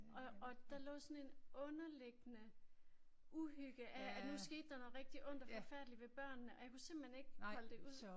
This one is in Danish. Og og der lå sådan en underliggende uhygge af at nu skete der noget rigtig ondt og forfærdeligt ved børnene og jeg kunne simpelthen ikke holde det ud